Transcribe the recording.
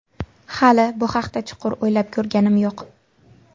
Hali bu haqda chuqur o‘ylab ko‘rganim yo‘q.